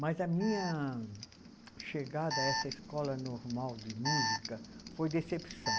Mas a minha chegada à essa escola normal de música foi decepção.